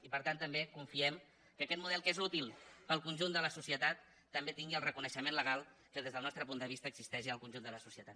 i per tant també confiem que aquest model que és útil per al conjunt de la societat també tingui el reconeixement legal que des del nostre punt de vista existeix al conjunt de la societat